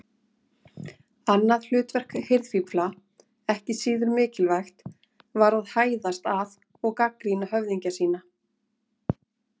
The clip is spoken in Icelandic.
Annað hlutverk hirðfífla, ekki síður mikilvægt, var að hæðast að og gagnrýna höfðingja sína.